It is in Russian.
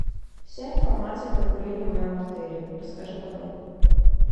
вся информация про курение в моем отеле расскажи подробно